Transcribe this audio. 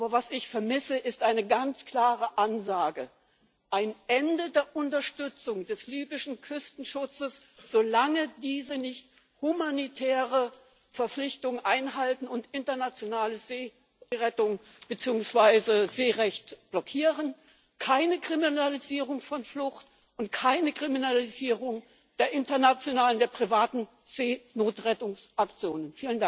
Aber was ich vermisse, ist eine ganz klare Ansage ein Ende der Unterstützung des libyschen Küstenschutzes, solange dieser nicht humanitäre Verpflichtungen einhält und internationale Seerettung beziehungsweise Seerecht blockiert, keine Kriminalisierung von Flucht und keine Kriminalisierung der internationalen, der privaten Seenotrettungsaktionen.